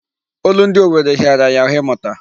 Olundi owere hịara ya ahụ ịmụta.